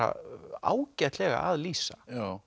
ágætlega að lýsa